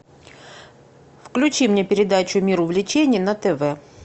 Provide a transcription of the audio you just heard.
включи мне передачу мир увлечений на тв